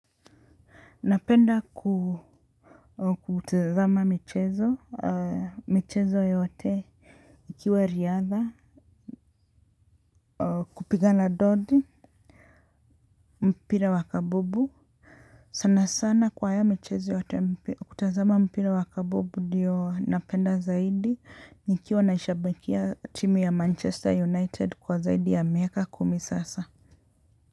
Napenda kutazama michezo, michezo yote, ikiwa riadha, kupigana ndondi, mpira wakabubu, sana sana kwa haya mchezo yote, kutazama mpira wakabubu ndiyo napenda zaidi, nikiwa nashabakia timu ya Manchester United kwa zaidi ya miaka kumi sasa.